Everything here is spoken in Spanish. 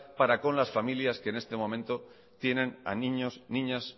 para con las familias que en este momento tienen a niños niñas